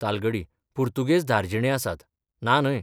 तालगडी पुर्तुगेज धार्जिणे आसात, ना न्हय.